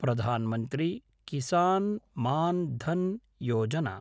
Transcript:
Pradhan Mantri Kisan Maan Dhan Yojana